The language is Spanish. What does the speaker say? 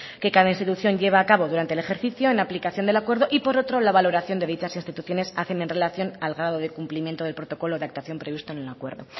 que cada institución lleva a cabo durante el ejercicio en aplicación del acuerdo y por otro la valoración que dichas instituciones hacen en relación al grado de cumplimiento del protocolo de actuación previsto en el acuerdo